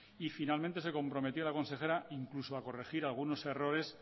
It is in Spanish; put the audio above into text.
y finalmente se comprometió la consejera incluso a corregir algunos errores